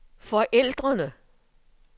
forældrene